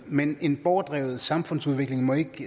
men en borgerdrevet samfundsudvikling må ikke